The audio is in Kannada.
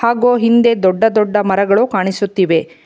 ಗೋ ಹಿಂದೆ ದೊಡ್ಡ ದೊಡ್ಡ ಮರಗಳು ಕಾಣಿಸುತ್ತಿವೆ.